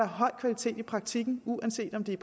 høj kvalitet i praktikken uanset om det